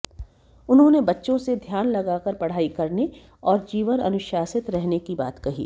उन्होंने बच्चों से ध्यान लगाकर पढ़ाई करने और जीवन अनुशासित रहने की बात कही